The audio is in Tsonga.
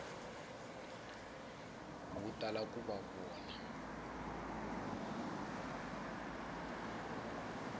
wu tala ku va wu